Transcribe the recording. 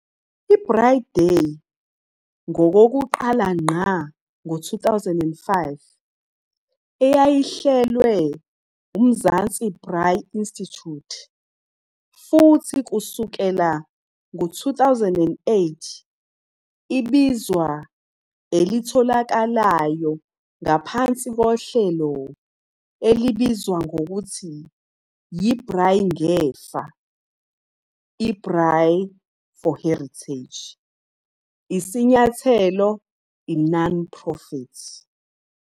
Braai Day ngokokuqala ngqá ngo-2005 eyayihlelwe Mzansi Braai Institute, futhi kusukela ngo-2008 ibizwa elitholakalayo ngaphansi kohlelo olubizwa ngokuthi yi Braai Ngefa, Braai4Heritage, isinyathelo non-profit.